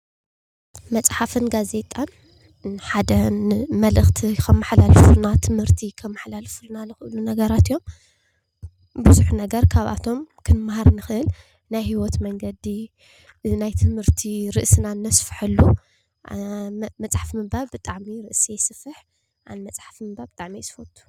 መፅሓፍን ጋዜጣን ሓደ መልእክቲ ከመሓላልፍ ዝክእሉ ነገራት እዮም ይኽእል ብዙሕ ነገር ካብኣቶም ክንመሃር ንክእል ናይ ሂወት መንገዲ ናይ ትምህርቲ ርእስና ነስፍሐሉ መፅሓፍ ምንባብ ብጣዕሚ ርእሲ የስፍሕ ኣነ መፅሓፍ ምንባብ ብጣዕሚ እየ ዝፈቱ።